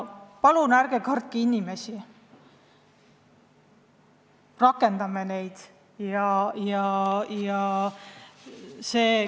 Palun ärge kartke inimesi, rakendame neid!